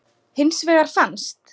Hins vegar fannst